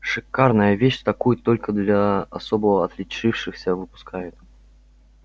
шикарная вещь такую только для особо отличившихся выпускают